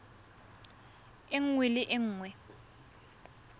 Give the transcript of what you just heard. e nngwe le e nngwe